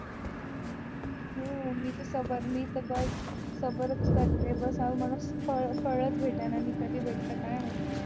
हो मी तर सबर च कमी तर बस सबर च करतेय बस मला फळ च भेटेना कधी भेटतंय काय माहिती